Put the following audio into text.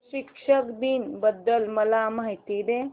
शिक्षक दिन बद्दल मला माहिती दे